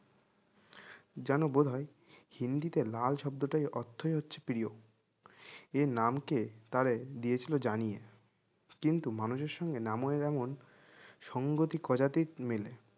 জানো বোধ হয় হিন্দিতে লাল শব্দটাই অর্থই হচ্ছে প্রিয় এই নামকে তারে দিয়েছিল জানিয়ে কিন্তু মানুষের সঙ্গে নামোই এমন সংগতি কদাতিক মেলে